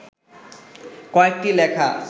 কয়েকটি লেখা